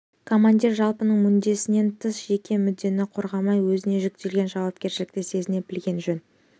командир жалпының мүддесінен тыс жеке мүддені қорғамай өзіне жүктелген жауапкершілікті сезіне білгені жөн